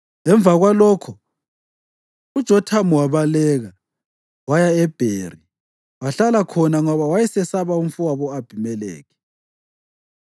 Emva kwalokhu uJothamu wabaleka, waya eBheri, wahlala khona ngoba wayesesaba umfowabo u-Abhimelekhi.